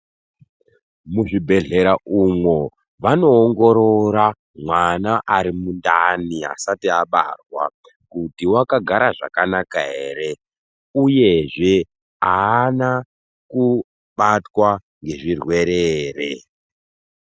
Muzvibhehlera umwo vanoongorora mwana arimundani asati abarwa kuti wakagara zvakanaka here uyezve haana kubatwa ngezvirwere here.